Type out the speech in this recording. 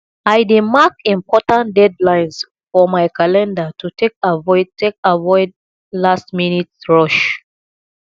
i dey mark important deadlines for my calendar to take avoid take avoid lastminute rush